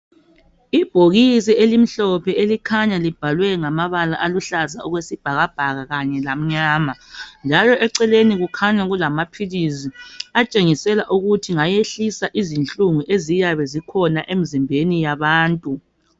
Ibhokisi elimhlophe elikhanya libhalwe ngamabala aluhlaza okwesibhakabhaka Kanye lamnyama njalo eceleni kukhanya kulamaphilisi atshengisela ukuthi ngayehlisa izinhlungu eziyabe zikhona emzimbeni yabantu.